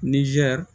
Nizɛri